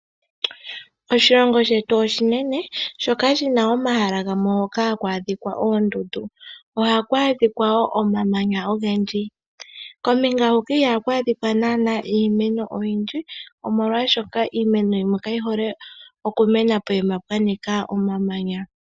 Oshilongo shetu oshinene shoka shina omahala gamwe hoka haku adhika oondundu. Ohaku adhika wo omamanya ogendji kombinga huka ihaku adhika naana iimeno oyindji omolwashoka iimeno yimwe kayi hole oku mena pokuma pwa nika omamanya.